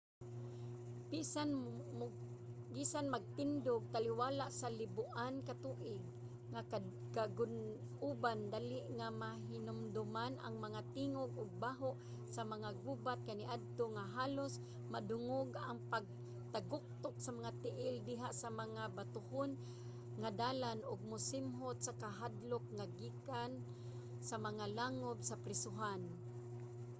bisan magtindog taliwala sa liboan ka tuig nga kagun-oban dali nga mahinumduman ang mga tingog ug baho sa mga gubat kaniadto nga halos madungog ang pagtaguktok sa mga tiil diha sa mga batohon nga dalan ug masimhot ang kahadlok nga gikan sa mga langob sa prisohan